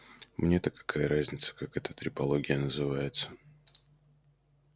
мне-то какая разница как эта трепология называется